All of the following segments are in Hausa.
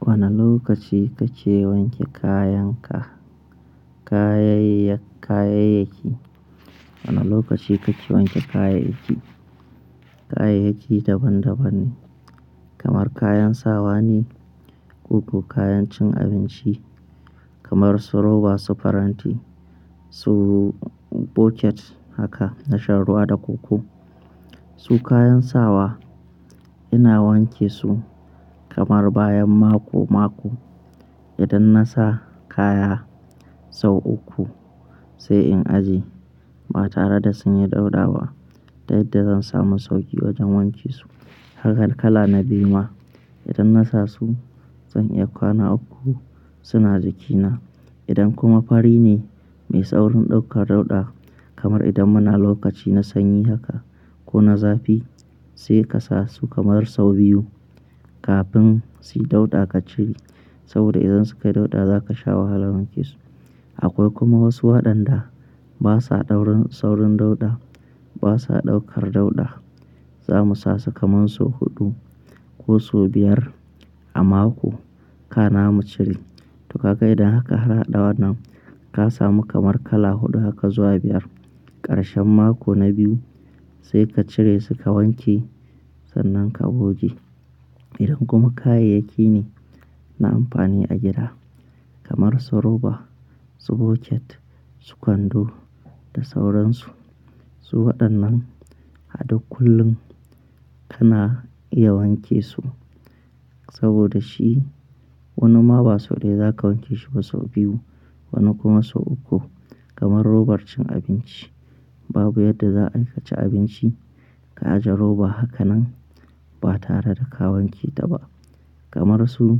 Wane lokaci kake wanke kayanka, kayaya kayayaki, wane lokaci kace wanke kayayyaki? Kayayyaki daban daban ne, kamar kayan sawa ne, ko kuma kayan cin abinci kamar su roba, su faranti, su bucket haka na shan ruwa da koko. Su kayan sawa ina wanke su kamar bayan mako mako. Idan nasa kaya sau uku sai in aje ba tare da sun yi dauɗa ba, da yadda zan samu sauki wajen wanke su. Haka kala na biyu ma idan nasa su zan iya kwana uku suna jikina. Idan kuma fari ne mai saurin ɗaukar dauɗa kamar idan muna lokaci na sanyi haka ko na zafi sai ka sa su kamar sau biyu kafin suyi dauɗa ka cire. Saboda idan suka yi dauɗa zaka sha wahalan wanke su. Akwai kuma wasu waɗanda basa daurin saurin dauɗa, basa ɗaukar dauɗa. Zamu sa su kamar sau huɗu ko su biyar a mako ka na mu cire. To kaga idan aka har ɗa wannan kasa mu kamar kala huɗu haka zuwa biyar, ƙarshen mako na biyu sai ka cire suka wanke sannan ka goge. Idan kuma kayayyaki ne na amfani a gida kamar su roba, su bucket, su kwando da sauransu. Su waɗannan hada kullum kana iya wanke su saboda shi wani ma ba sau ɗaya za ka wanke shi ba sau biyu wani kuma sau uku. Kamar robar cin abinci babu yadda za a yi ka ci abinci ka aje roba hakanan ba tare da ka wanke ta ba. Kamar su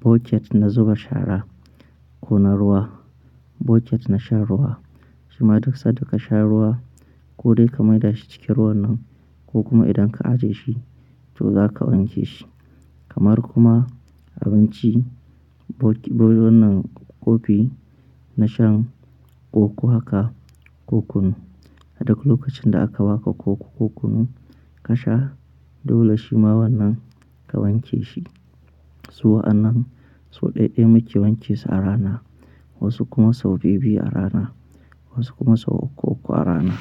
bucket na zuba shara ko na ruwa, bucket na shan ruwa. Shi ma duk sa'ad da ka sha ruwa ko dai ka maida shi cikin ruwan nan ko kuma idan ka ajiye shi, to za ka wanke shi. Kamar kuma abinci, bok--wan wannan kofi na shan ƙoƙo haka ko kunu. Aduk lokacin da aka ba ka ƙoƙo ko kunu ka sha dole shi ma wannan ka wanke shi. Su wa'annan sau ɗayaɗaya muke wanke su a rana wasu kuma sau biyu biyu a rana wasu kuma sau uku uku a rana.